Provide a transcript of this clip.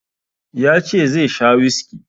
Ya ce zai sha whiskey.